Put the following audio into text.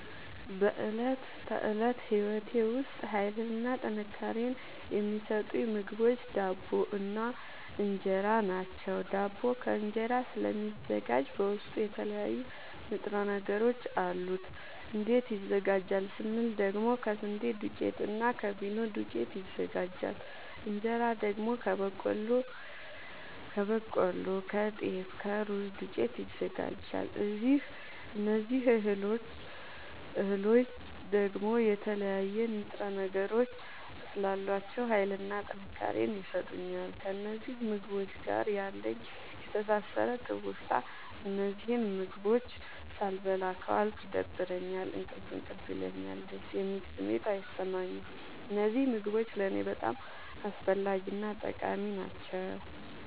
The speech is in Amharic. በእለት ተለት ህይወቴ ዉስጥ ሀይልንና ጥንካሬን የሚሠጡኝ ምግቦች ዳቦ እና እን ራ ናቸዉ። ዳቦ ከስንዴ ስለሚዘጋጂ በዉስጡ የተለያዩ ንጥረ ነገሮች አሉት። እንዴት ይዘጋጃል ስንል ደግሞ ከስንዴ ዱቄትና እና ከፊኖ ዱቄት ይዘጋጃል። እንጀራ ደግሞ ከበቆሎ ከጤፍ ከሩዝ ዱቄት ይዘጋጃል። እዚህ እህሎይ ደግሞ የተለያዩ ንጥረ ነገሮች ስላሏቸዉ ሀይልንና ጥንካሬን ይሠጡኛል። ከእነዚህ ምግቦች ጋር ያለኝ የተሣሠረ ትዉስታ እነዚህን ምግቦች ሣልበላ ከዋልኩ ይደብረኛል እንቅልፍ እንቅልፍ ይለኛል። ደስ የሚል ስሜት አይሠማኝም። እነዚህ ምግቦች ለኔ በጣም አስፈላጊናጠቃሚ ናቸዉ።